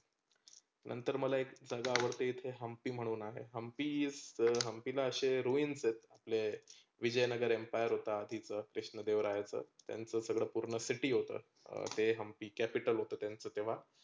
नंतर मला एक जागा आवाडते हंम्पी म्हणून आहे. हंम्पी is the हंम्पी तर roense आहेत आपले. विजयनगर empire होता तीथ विष्णूदेवराय यांच. त्यांच सगळ city होतं. ते हंम्पी capital होत त्यांचं तेंव्हा.